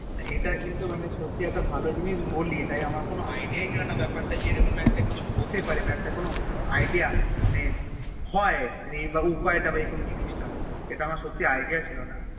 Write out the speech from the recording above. ইটা কিন্তু সত্যি একটা ভালো জিনিস বলি মানে আমার কোনো Idea ছিলোনা যে এরকম কিছু একটা হতে পারে বেপার তা নিয়ে যে এরুম একটা কিছু হতে পারে বা একটা কোনো Idea হয়ে বা উপায়ে তা এই জিনিস তা ইটা আমার সত্যি Idea ছিলোনা